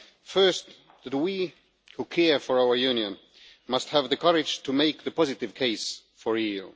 First, that we who care for our Union must have the courage to make the positive case for the EU.